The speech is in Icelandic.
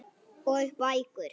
Og bækur.